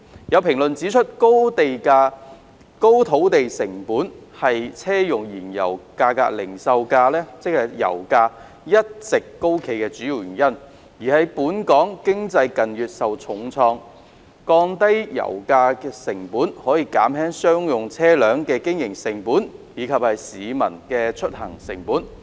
有評論指出，高土地成本是車用燃油零售價一直高企的主因，而本港經濟近月受疫情重創，降低油價可減輕商業車輛的經營成本及市民的出行成本。